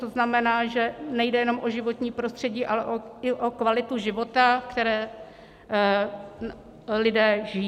To znamená, že nejde jenom o životní prostředí, ale i o kvalitu života, který lidé žijí.